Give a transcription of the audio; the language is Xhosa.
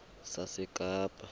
sasekapa